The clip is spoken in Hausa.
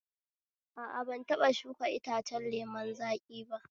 A a, ban taɓa shuka itacen lemun zaƙi ba